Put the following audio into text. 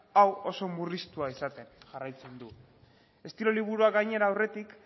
hau oso murriztua izaten jarraitzen du estilo liburuak gainera aurretik